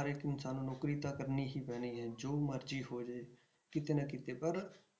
ਹਰ ਇੱਕ ਇਨਸਾਨ ਨੂੰ ਨੌਕਰੀ ਤਾਂ ਕਰਨੀ ਹੀ ਪੈਣੀ ਹੈ ਜੋ ਮਰਜ਼ੀ ਹੋ ਜਾਏ ਕਿਤੇ ਨਾ ਕਿਤੇ ਪਰ